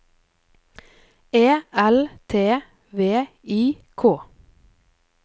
E L T V I K